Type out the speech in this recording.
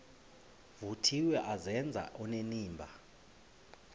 vuthiwe azenze onenimba